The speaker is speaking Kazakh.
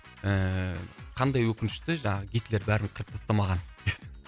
ііі қандай өкінішті жаңағы гитлер бәрін қырып тастамаған